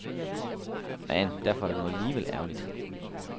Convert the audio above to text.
Men derfor var det nu alligevel ærgerligt.